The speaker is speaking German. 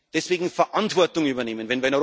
Deswegen Verantwortung übernehmen!